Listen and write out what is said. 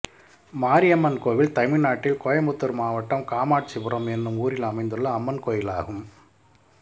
மாரியம்மன் கோயில் தமிழ்நாட்டில் கோயம்புத்தூர் மாவட்டம் காமாட்சிபுரம் என்னும் ஊரில் அமைந்துள்ள அம்மன் கோயிலாகும்